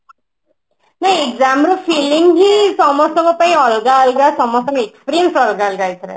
ନାଇଁ exam ର feeling ବି ସମସ୍ତଙ୍କ ଅଲଗା ଅଲଗା ସମସ୍ତଙ୍କ experience ଅଲଗା ଅଲଗା ଏଥିରେ